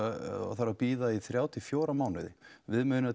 þarf að bíða í þrjá til fjóra mánuði